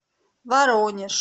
воронеж